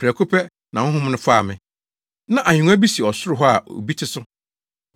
Prɛko pɛ, na Honhom no faa me. Na ahengua bi si ɔsoro hɔ a obi te so.